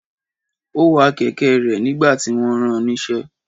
Ó wa kẹ̀kẹ́ rẹ̀ nígbà tí wọ́n ran níṣẹ́.